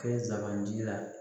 Kɛ n sabanan ji la